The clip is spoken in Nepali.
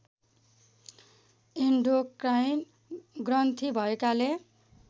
इन्डोक्राइन ग्रन्थी भएकाले